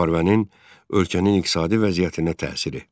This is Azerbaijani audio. Müharibənin ölkənin iqtisadi vəziyyətinə təsiri.